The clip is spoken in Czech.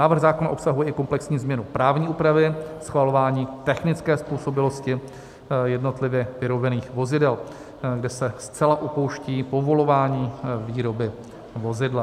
Návrh zákona obsahuje i komplexní změnu právní úpravy schvalování technické způsobilosti jednotlivě vyrobených vozidel, kde se zcela opouští povolování výroby vozidla.